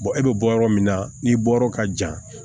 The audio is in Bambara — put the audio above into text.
e bɛ bɔ yɔrɔ min na n'i bɔ yɔrɔ ka jan